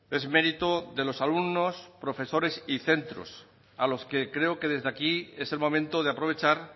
es mérito de los alumnos profesores y centros a los que creo que desde aquí es el momento de aprovechar